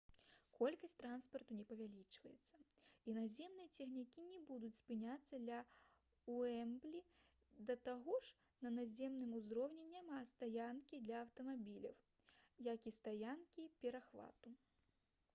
колькасць транспарту не павялічваецца і наземныя цягнікі не будуць спыняцца ля «уэмблі» да таго ж на наземным узроўні няма стаянкі для аўтамабіляў як і стаянкі-перахвату